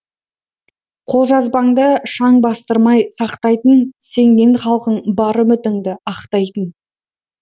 қолжазбаңды шаң бастырмай сақтайтын сенген халқың бар үмітіңді ақтайтын